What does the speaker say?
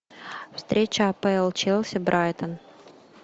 встреча апл челси брайтон